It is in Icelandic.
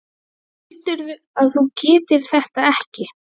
Heldurðu að þú getir þetta ekki?